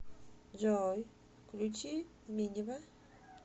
джой включи минива